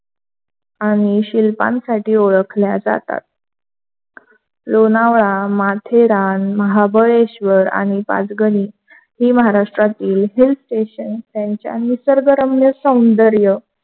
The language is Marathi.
आणि शिल्पांसाठी ओळखले जातात. लोणावळा, माथेरान, महाबळेश्वर आणि पाचगणी ही महाराष्ट्राची hill station त्यांचा निसर्गरम्य सौंदर्य,